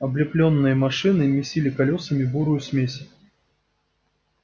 облепленные машины месили колёсами бурую смесь